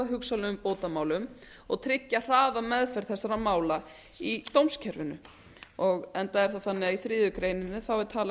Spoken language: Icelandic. hugsanlegum bótamálum og trygga hraða og meðferð þessara mála í dómskerfinu enda er það þannig að í þriðju grein er